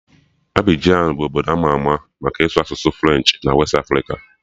Abịjan bụ obdo ama ama maka ịsụ asụsụ Frenchị na westị Afrịka